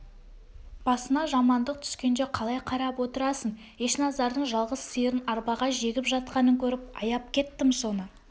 басына жамандық түскенде қалай қарап отырасың ешназардың жалғыз сиырын арбаға жегіп жатқанын көріп аяп кеттім соны